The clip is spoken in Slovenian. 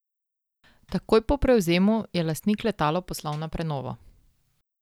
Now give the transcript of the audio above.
Takoj po prevzemu je lastnik letalo poslal na prenovo.